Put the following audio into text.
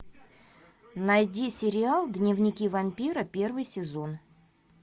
найди сериал дневники вампира первый сезон